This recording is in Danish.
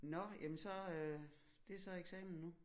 Nåh jamen så øh det er så eksamen nu